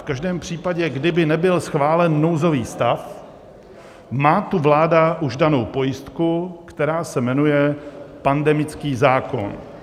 V každém případě, kdyby nebyl schválen nouzový stav, má tu vláda už danou pojistku, která se jmenuje pandemický zákon.